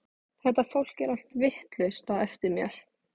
Þetta fólk er allt vitlaust á eftir mér.